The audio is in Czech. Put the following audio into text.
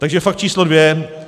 Takže fakt číslo dvě.